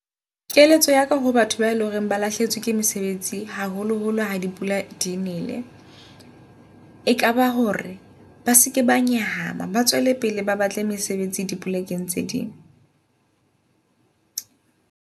Keletso yaka ho batho ba e leng hore ba lahlehetswe ke mesebetsi, haholoholo ha dipula di nele. Ekaba hore ba seke ba nyahama ba tswele pele, ba batle mesebetsi di plekeng tse ding.